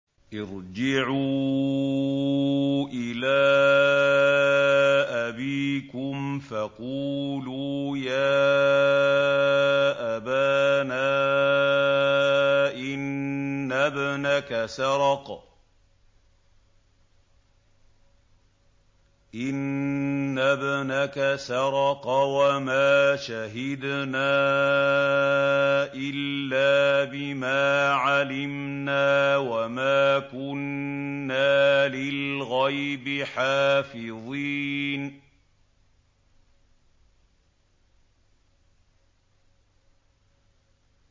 ارْجِعُوا إِلَىٰ أَبِيكُمْ فَقُولُوا يَا أَبَانَا إِنَّ ابْنَكَ سَرَقَ وَمَا شَهِدْنَا إِلَّا بِمَا عَلِمْنَا وَمَا كُنَّا لِلْغَيْبِ حَافِظِينَ